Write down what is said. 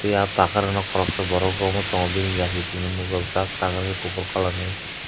ya takarono korsa borok romoi tango bini yaksi chikon nogjak jak takarini kopor colour ni.